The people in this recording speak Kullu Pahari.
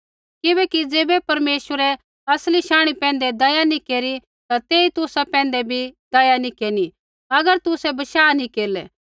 किबैकि ज़ैबै परमेश्वरै असली शांणी पैंधै दया नैंई केरी ता तेई तुसा पैंधै बी दया नैंई केरनी अगर तुसै बशाह नैंई केरलै